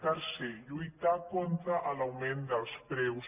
tercer lluitar contra l’augment dels preus